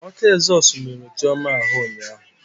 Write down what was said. Ọkụ ezọsụ merụrụ Chioma ahụ ụnyaahụ.